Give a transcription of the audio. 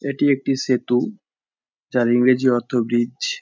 এটি একটি সেতু যার ইংরেজি অর্থ ব্রিজ ।